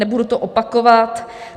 Nebudu to opakovat.